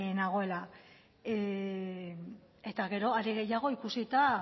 nagoela eta gero are gehiago ikusita